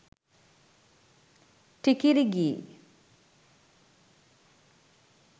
tikiri gee